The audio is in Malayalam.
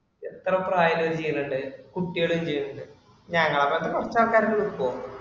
എത്ര പ്രായം ഉള്ളവര് ചെയ്യണുണ്ട്. കുട്ടികളും ചെയ്യണുണ്ട്. ഞാൻ ആ ആൾക്കാരുടെ group ഇൽ പോവാ